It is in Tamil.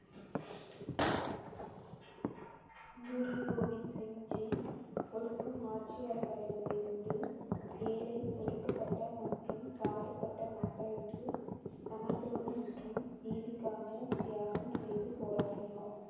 குரு கோவிந்த் சிங் ஜி ஓடுக்கும் ஆட்சியாளர்களிடம் இருந்து வேலை ஒடுக்கப்பட்ட மற்றும் தாழ்த்தப்பட்ட மக்களுக்கு சமத்துவம் மற்றும் நீதிக்காக தியாகம் செய்து போராடினார்